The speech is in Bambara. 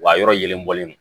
Wa a yɔrɔ yelen bɔlen don